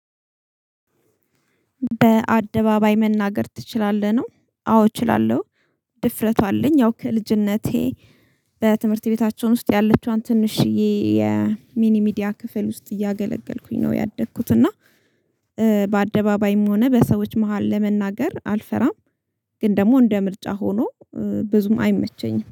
በአደባባይ መናገር ትችላለህ ነው? አዎ እችላለሁ። ድፍረቱ አለኝ ያው ከልጅነቴ በትምህርት ቤታችን ውስጥ ያለችዋን ትንሽዬ የሚኒ ሚዲያ ክፍል ውስጥ እያገለገልኩኝ ነው ያደኩት እና በአደባባይም ሆነ በሰዎች መሃል ለመናገር አልፈራም፤ ግን ደግሞ እንደ ምርጫ ሆኖ ብዙም አይመቸኝም